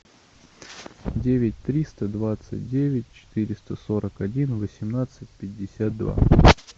девять триста двадцать девять четыреста сорок один восемнадцать пятьдесят два